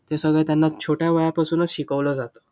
हे सगळं त्यांना छोट्या वयापासूनच शिकवलं जातं.